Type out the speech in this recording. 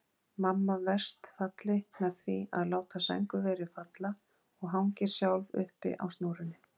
Mamma verst falli með því að láta sængurverið falla og hangir sjálf uppi á snúrunni.